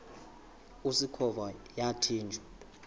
usikhova yathinjw a